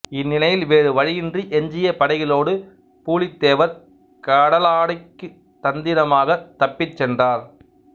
இந்நிலையில் வேறு வழியின்றி எஞ்சிய படைகளோடு பூலித்தேவர் கடலாடிக்குத் தந்திரமாகத் தப்பிச் சென்றார்